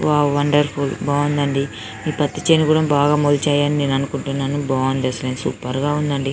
wow wonderful బావుందండి మీ పత్తి చేను కూడా బాగా మొలిచాయని నేను అనుకుంటున్నాను బాగుంది అసలు సూపర్ గ ఉంది అసలు